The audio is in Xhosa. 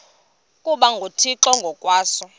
ukuba nguthixo ngokwaso